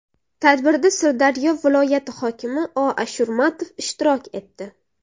Tadbirda Sirdaryo viloyati hokimi O. Ashurmatov ishtirok etdi.